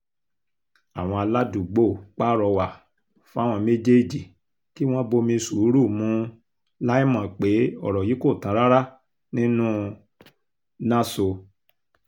àwọn aládùúgbò pàrọwà fáwọn méjèèjì kí wọ́n bomi sùúrù mu láì mọ̀ pé ọ̀rọ̀ yìí kò tán rárá nínú náso